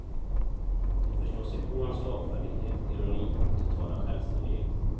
De förstår sig på hans slagfärdighet, ironi och totala självständighet.